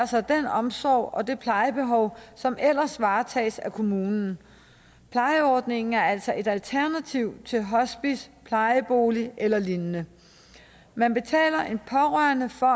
sig den omsorg og det plejebehov som ellers varetages af kommunen plejeordningen er altså et alternativ til hospice plejebolig eller lignende man betaler en pårørende for